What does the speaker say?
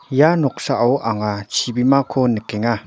ia noksao anga chibimako nikenga.